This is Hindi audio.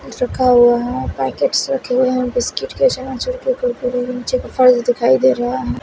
रखा हुआ है पैकेट्स रखे हुए हैं बिस्किट के नीचे कुरकुरे विंचे दिखाई दे रहा है।